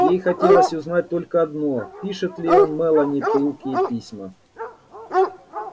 ей хотелось узнать только одно пишет ли он мелани пылкие письма